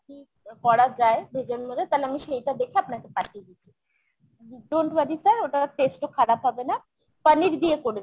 কী করা যায় veg এর মধ্যে তালে আমি সেইটা দেখে আপনাকে পাঠিয়ে দিচ্ছি। don't worry sir ওটার taste ও খারাপ হবে না। পনির দিয়ে করে দিচ্ছি।